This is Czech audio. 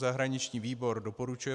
Zahraniční výbor doporučuje